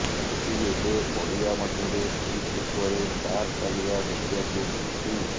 କିନ୍ତୁ ଏବେ ପଡ଼ିଆ ମଧ୍ୟରେ ପିଚ୍ ଉପରେ କାର୍ ଚାଲିବା ଦେଖିବାକୁ ମିଳିଛି